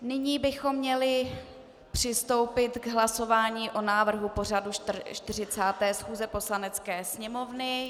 Nyní bychom měli přistoupit k hlasování o návrhu pořadu 40. schůze Poslanecké sněmovny.